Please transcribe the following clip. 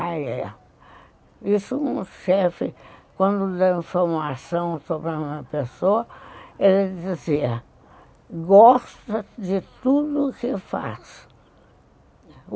Ah, é. Isso o chefe, quando deu uma informação sobre uma pessoa, ele dizia, gosta de tudo o que faz.